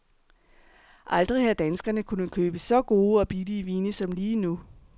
Aldrig har danskerne kunnet købe så gode og billige vine som lige nu.